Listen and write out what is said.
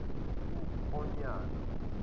uonyana